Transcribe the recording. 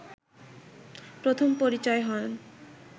প্রথম পরিচয় হয়